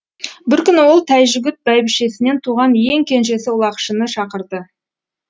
бір күні ол тайжігүт бәйбішесінен туған ең кенжесі ұлақшыны шақырды